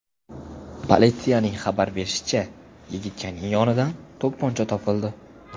Politsiyaning xabar berishicha, yigitchaning yonidan to‘pponcha topildi.